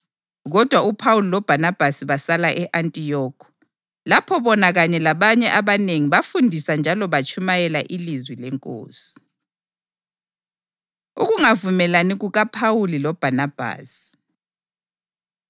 Kodwa uPhawuli loBhanabhasi basala e-Antiyokhi, lapho bona kanye labanye abanengi bafundisa njalo batshumayela ilizwi leNkosi. Ukungavumelani KukaPhawuli LoBhanabhasi